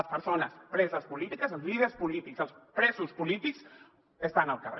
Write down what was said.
les persones preses polítiques els líders polítics els presos polítics estan al carrer